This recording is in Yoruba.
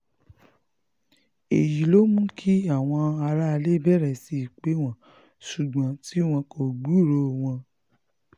èyí ló um mú kí àwọn aráalé bẹ̀rẹ̀ sí í pè wọ́n ṣùgbọ́n tí wọn kò gbúròó um wọn